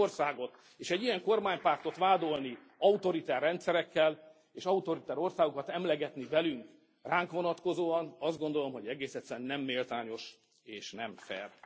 Egy ilyen országot, és egy ilyen kormánypártot vádolni autoriter rendszerekkel, és autoriter országokat emlegetni velünk ránk vonatkozóan, azt gondolom, hogy egész egyszerűen nem méltányos és nem fair.